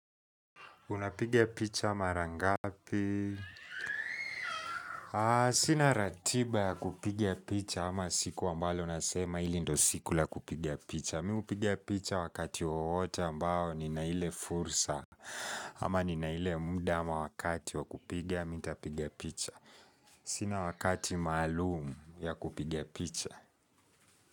Unapigia picha mara ngapi? Sina ratiba ya kupigia picha ama siku ambalo nasema ili ndo siku la kupiga picha. Mi hupiga picha wakati wowote ambao nina ile fursa ama nina ile muda ama wakati wakupigia mi nitapigia picha. Sina wakati maalumu ya kupiga picha.